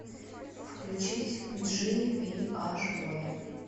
включить джи ви аш боя